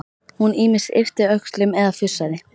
Hún ýmist yppti öxlum eða fussaði.